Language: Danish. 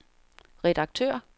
redaktør